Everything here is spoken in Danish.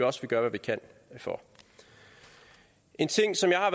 også vi gør hvad vi kan for en ting som jeg